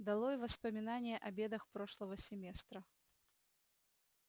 долой воспоминания о бедах прошлого семестра